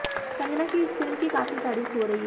कंगना की इस फिल्म की काफी तारीफ हो रही है